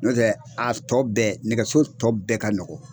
N'o tɛ a tɔ bɛɛ nɛgɛso tɔ bɛɛ ka nɔgɔn.